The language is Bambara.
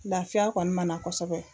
Lafiya kɔni ma na kosɛbɛ.